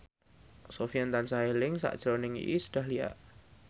Sofyan tansah eling sakjroning Iis Dahlia